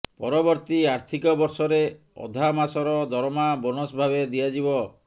ପରବର୍ତ୍ତୀ ଆର୍ଥିକ ବର୍ଷରେ ଅଧା ମାସର ଦରମା ବୋନସ ଭାବେ ଦିଆଯିବ